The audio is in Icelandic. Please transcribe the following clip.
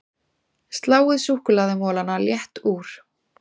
Sláið súkkulaðimolana létt úr